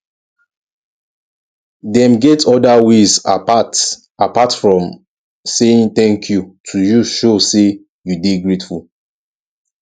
dem get oda ways apart apart from saying thank you to use show say you de grateful